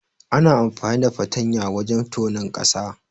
Ana amfani da fartanya wajen tonon ƙasa.